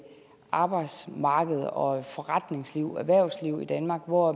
arbejdsmarked og et forretningsliv et erhvervsliv i danmark hvor